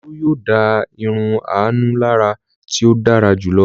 Olú yóò dá irun Àánú lára tí ó dára jù lọ.